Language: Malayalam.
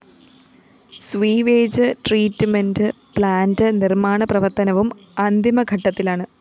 സിവറേജ്‌ ട്രീറ്റ്മെന്റ്‌ പ്ലാന്റ്‌ നിര്‍മ്മാണ പ്രവര്‍ത്തനവും അന്തിമഘട്ടത്തിലാണ്